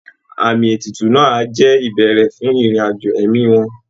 Àmì ètùtù náà á jẹ́ ìbẹ̀rẹ̀ fún ìrìn àjò ẹ̀mí wọn